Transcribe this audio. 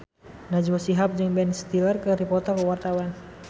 Najwa Shihab jeung Ben Stiller keur dipoto ku wartawan